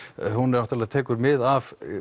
hún náttúrulega tekur mið af